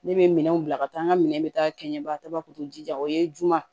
Ne bɛ minɛnw bila ka taa n ka minɛn bɛ taa kɛ ɲɛbagatɔ ye juman